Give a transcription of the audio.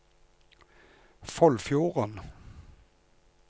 Foldfjorden